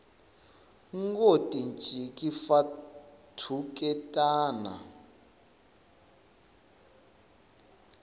ngo tinciki fa thuketana